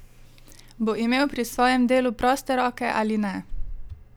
Bo imel pri svojem delu proste roke ali ne?